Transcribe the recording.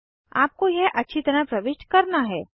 आपको यह अच्छी तरह प्रविष्ट करना है